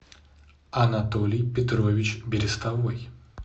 анатолий петрович берестовой